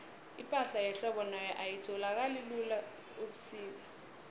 ipahla yehlobo nayo ayitholakali lula ubusika